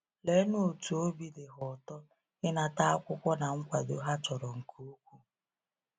Leenụ otú obi dị ha ụtọ ịnata akwụkwọ na nkwado ha chọrọ nke ukwuu!